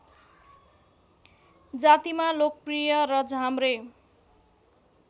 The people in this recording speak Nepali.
जातिमा लोकप्रिय र झाम्रे